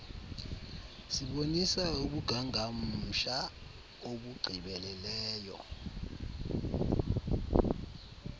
sibonisa ubungangamsha obugqibeleleyo